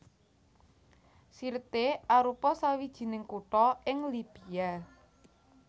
Sirte arupa sawijining kutha ing Libya